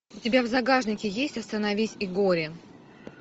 у тебя в загашнике есть остановись и гори